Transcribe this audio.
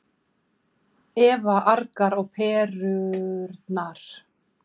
Eva argar á perurnar.